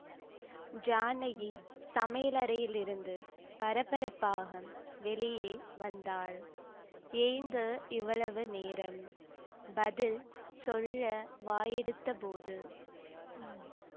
ஜானகி சமயலறையிலிருந்து பரபரப்பாக வெளியே வந்தாள் ஏங்க இவ்வளவு நேரம் பதில் சொல்ல வாயெடுத்த போது